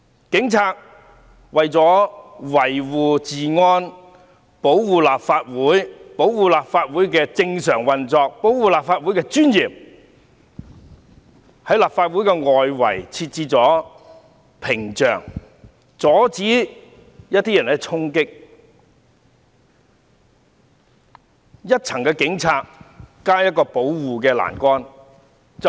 警察為了維護治安，保障立法會能夠正常運作和維護立法會的尊嚴，在立法會外圍設置屏障，阻止有人衝擊，而當時只有一些警察和一個保護欄桿。